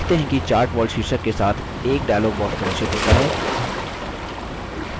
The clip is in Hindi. आप देखते हैं कि chart wall शीर्षक के साथ एक dialog box प्रदर्शित होता है